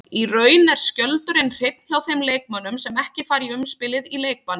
Í raun er skjöldurinn hreinn hjá þeim leikmönnum sem ekki fara í umspilið í leikbanni.